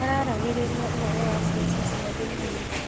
Maraaragĩrĩria ũhoro wa ciaca cia thĩini.